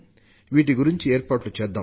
వీటి గురించి ఏర్పాట్లు చేద్దాం